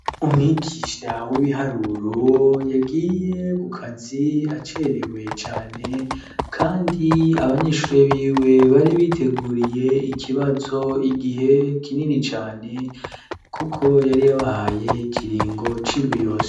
Umwigisha w'ibiharuro yagiye kukazi acerewe cane, kandi abanyeshure biwe bari biteguriye ikibazo igihe kinini cane, kuko yari yabahaye ikiringo c'indwi yose.